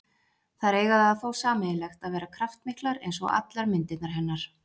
Þær eiga það þó sameiginlegt að vera kraftmiklar, eins og allar myndirnar hennar.